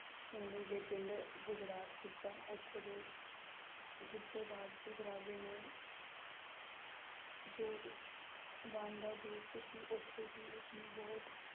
ਸੋਣੀ ਦੇ ਪਿੰਡ ਗੁਜਰਾਤ ਪੁੱਜਾ, ਉੱਥੋਂ ਦੇ ਗੁੱਜ਼ਰ ਰਾਜਪੂਤ ਰਾਜੇ ਨੇ ਜੋ ਵਾਨ ਦਾ ਦੋਸਤ ਸੀ ਉੱਥੇ ਹੀ ਉਸਨੂੰ ਬਹੁਤ